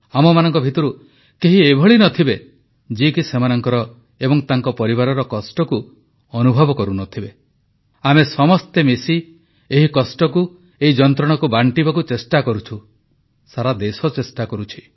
ଆମମାନଙ୍କ ମଧ୍ୟରୁ କେହି ଏଭଳି ନ ଥିବେ ଯିଏକି ସେମାନଙ୍କର ଏବଂ ତାଙ୍କ ପରିବାରର କଷ୍ଟକୁ ଅନୁଭବ କରୁନଥିବେ ଆମେ ସମସ୍ତେ ମିଶି ଏହି କଷ୍ଟକୁ ଏହି ଯନ୍ତ୍ରଣାକୁ ବାଂଟିବାକୁ ଚେଷ୍ଟା କରୁଛୁ ସାରା ଦେଶ ଚେଷ୍ଟା କରୁଛି